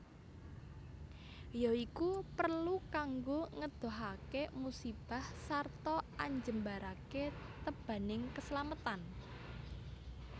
Ya iku perlu kanggo ngedohake musibah sarta anjembarake tebaning keslametan